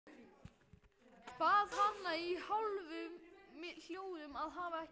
Bað hana í hálfum hljóðum að hafa ekki hátt.